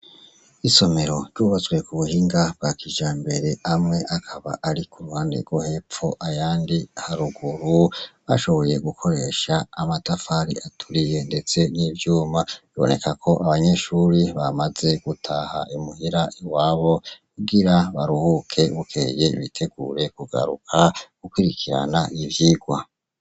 Isomero ryubatswe ku buhinga bwa kijambere hamwe akaba ari ku ruhande rwo hepfo ayandi haruguru bashoboye gukoresha amatafari aturiye ndetse n'ivyuma. Biboneka ko abanyeshure bamaze gutaha imuhira iwabo kugira baruhuke bukeye bitegure kugaruka gukurikirana ivyirwa.